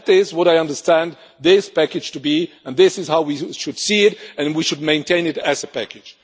That is what I understand this package to be, and this is how we should see it and we should maintain it as a package.